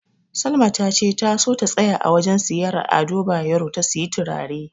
Salma tace ta so ta tsaya a wajen siyayyar Ado Bayero ta siyi turare.